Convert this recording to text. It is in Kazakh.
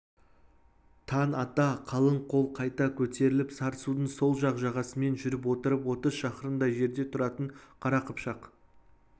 таң ата қалың қол қайта көтеріліп сарысудың сол жақ жағасымен жүріп отырып отыз шақырымдай жерде тұратын қара қыпшақ